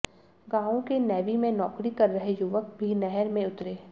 गांवों के नेवी में नौकरी कर रहे युवक भी नहर में उतरे